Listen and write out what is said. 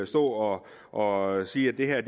stå og sige at det her er